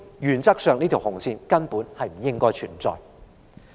原則上，這條紅線根本不應該存在。